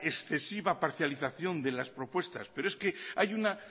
excesiva parcialización de las propuestas pero es que hay una